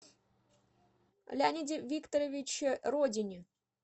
леониде викторовиче родине